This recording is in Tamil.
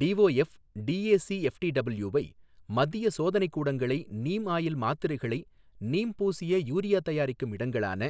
டிஒஎஃப், டிஏசிஎஃப்டிடபில்யூவை மத்திய சோதனைக்கூடங்களை நீம் ஆயில் மாத்திரிக்களை நீம் பூசிய யூரியாதயாரிக்கும் இடங்களான